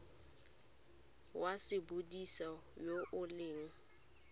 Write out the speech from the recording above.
wa sepodisi yo o leng